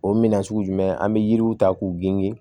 O minɛn sugu jumɛn an bɛ yiriw ta k'u gengi